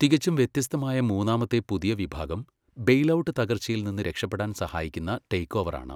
തികച്ചും വ്യത്യസ്തമായ മൂന്നാമത്തെ പുതിയ വിഭാഗം ബെയിൽഔട്ട് തകർച്ചയിൽ നിന്ന് രക്ഷപ്പെടാൻ സഹായിക്കുന്ന ടേക്ക്ഓവർ ആണ്.